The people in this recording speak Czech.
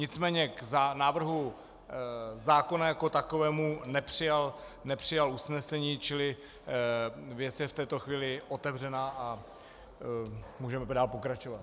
Nicméně k návrhu zákona jako takovému nepřijal usnesení, čili věc je v této chvíli otevřená a můžeme dál pokračovat.